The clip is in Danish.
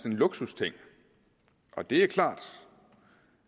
luksusting og det er klart